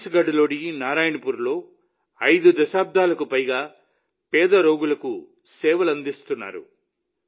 ఛత్తీస్గఢ్లోని నారాయణపూర్లో 5 దశాబ్దాలకు పైగా పేద రోగులకు సేవలందిస్తున్నారు